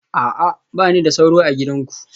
A'a, ba ni da sauro a gidanku